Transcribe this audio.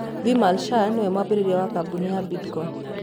Vimal Shah niwe mwanjĩrĩria wa kambuni ya Bidco.